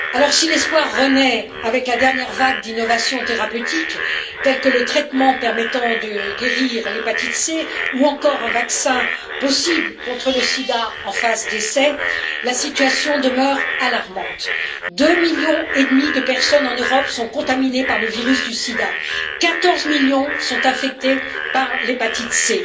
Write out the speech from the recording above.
Si l'espoir renaît avec la dernière vague d'innovations thérapeutiques, telles que le traitement permettant de guérir l'hépatite C ou encore un vaccin possible contre le sida, en phase d'essai, la situation demeure alarmante 2 millions et demi de personnes en Europe sont contaminées par le virus du sida, 14 millions sont infectées par l'hépatite C